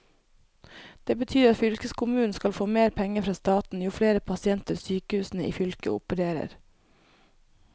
Det betyr at fylkeskommunen skal få mer penger fra staten jo flere pasienter sykehusene i fylket opererer.